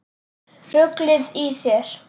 Ruglið í þér!